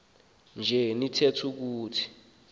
nje nitheth ukuthi